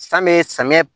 San bɛ samiyɛ